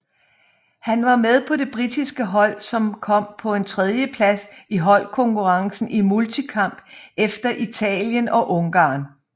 Han var med på det britiske hold som kom på en tredjeplads i holdkonkurrencen i multikamp efter Italien og Ungarn